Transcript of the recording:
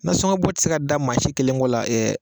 Nasɔngɔbɔ tɛ se ka da maa si kelen kɔ la ɛ